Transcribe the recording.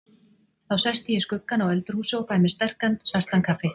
Þá sest ég í skuggann á öldurhúsi og fæ mér sterkan svartan kaffi.